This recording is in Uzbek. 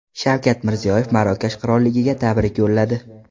Shavkat Mirziyoyev Marokash qiroliga tabrik yo‘lladi.